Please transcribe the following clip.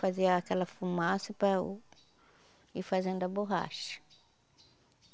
Fazia aquela fumaça para ir fazendo a borracha.